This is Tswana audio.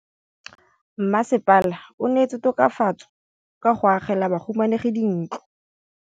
Mmasepala o neetse tokafatsô ka go agela bahumanegi dintlo.